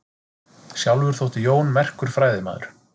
Sjálfur þótti Jón merkur fræðimaður.